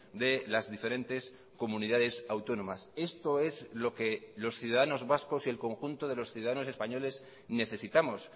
de las diferentes comunidades autónomas esto es lo que los ciudadanos vascos y el conjunto de los ciudadanos españoles necesitamos